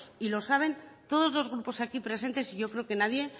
y lo saben todos los grupos aquí presentes y yo creo que nadie